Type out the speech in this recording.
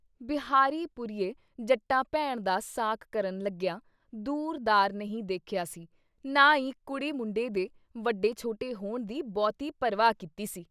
ਬਿਹਾਰੀ ਪੁਰੀਏ ਜੱਟਾਂ ਭੈਣ ਦਾ ਸਾਕ ਕਰਨ ਲੱਗਿਆਂ ਦੂਰ ਦਾਰ ਨਹੀਂ ਦੇਖਿਆ ਸੀ ਨਾ ਈ ਕੁੜੀ ਮੁੰਡੇ ਦੇ ਵੱਡੇ ਛੋਟੇ ਹੋਣ ਦੀ ਬਹੁਤੀ ਪਰਵਾਹ ਕੀਤੀ ਸੀ ।